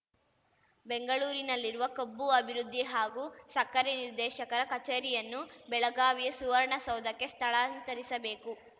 ಬೆಂಗಳೂರಿನಲ್ಲಿರುವ ಕಬ್ಬು ಅಭಿವೃದ್ಧಿ ಹಾಗೂ ಸಕ್ಕರೆ ನಿರ್ದೇಶಕರ ಕಚೇರಿಯನ್ನು ಬೆಳಗಾವಿಯ ಸುವರ್ಣಸೌಧಕ್ಕೆ ಸ್ಥಳಾಂತರಿಸಬೇಕು